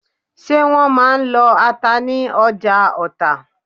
Ṣé wọ́n máà ń lọ ata ní ọjà Ọta?